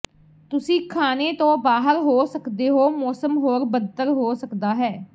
ਤੁਸੀਂ ਖਾਣੇ ਤੋਂ ਬਾਹਰ ਹੋ ਸਕਦੇ ਹੋ ਮੌਸਮ ਹੋਰ ਬਦਤਰ ਹੋ ਸਕਦਾ ਹੈ